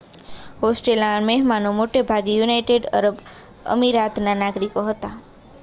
હોસ્ટેલના મહેમાનો મોટેભાગે united Arab અમિરાતના નાગરિકો હતાં